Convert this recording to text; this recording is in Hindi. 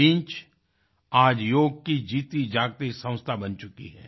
Lynch आज योग की जीतीजागती संस्था बन गई है